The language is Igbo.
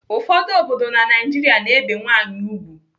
Ụfọdụ obodo na Naijiria na-ebe nwaanyị ùgwù.